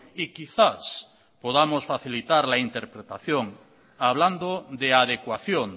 y quizás podamos facilitar la interpretación hablando de adecuación